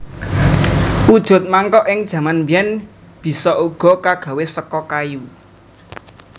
Wujud mangkok ing jaman biyen bisa uga kagawe saka kayu